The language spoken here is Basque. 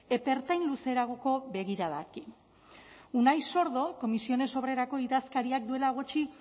epe ertain luzeragoko begiradarekin unai sordo comisiones obreraseko idazkariak duela gutxi